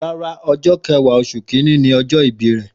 Rárá ọjọ kẹwa osun kínní ni ọjọ ìbí rẹ.